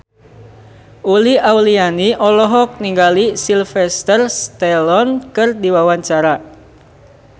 Uli Auliani olohok ningali Sylvester Stallone keur diwawancara